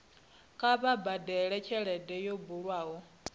kha vha badele tshelede yo bulwaho